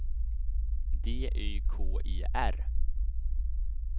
D Y K E R